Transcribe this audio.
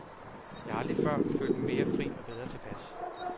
Jeg har aldrig før følt mig mere fri og bedre tilpas.